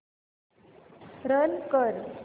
run कर